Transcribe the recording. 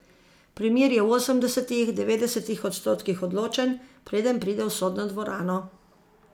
Primer je v osemdesetih, devetdesetih odstotkih odločen, preden pride v sodno dvorano.